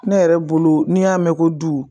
Ne yɛrɛ bolo n'i y'a mɛn ko du